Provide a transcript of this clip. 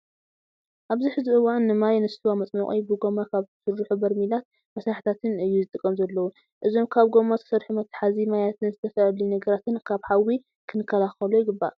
ኣብዚ ሕዚ እዋን ንማይ፣ ንሰዋ መፅሙቂ ብጎማ ካብ ዝተሰርሑ ሜርሚላትን መሳርሕታትን እዩ ዝጥቀም ዘለው። እዞም ካብ ጎማ ዝተሰርሑ መትሓዚ ማያትን ዝተፈላለዩ ነገራትን ካብ ሓዊ ክንከላከሎ ይግባእ።